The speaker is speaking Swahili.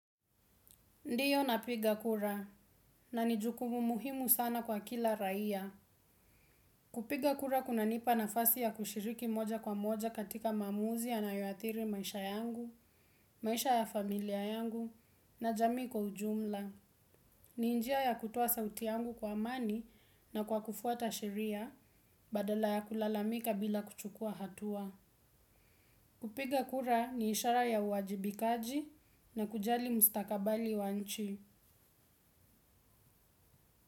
Ndiyo napiga kura, na nijukumu muhimu sana kwa kila raia. Kupiga kura kunanipa nafasi ya kushiriki moja kwa moja katika mamuzi yanayoatiri maisha yangu, maisha ya familia yangu, na jamii kwa ujumla. Ni njia ya kutoa sauti yangu kwa amani na kwa kufuta sheria badala ya kulalamika bila kuchukua hatua. Kupiga kura ni ishara ya uwajibikaji na kujali mustakabali wa nchi.